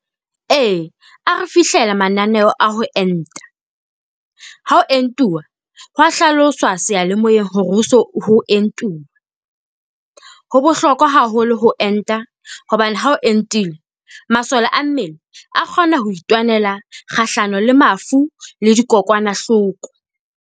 E, a re fihlela mananeo a ho enta. Ha ho entuwa ho a hlaloswa sealemoeng hore ho so ho entuwa. Ho bohlokwa haholo ho enta, hobane ha o entile masole a mmele a kgona ho itwanela kgahlano le mafu le dikokwanahloko.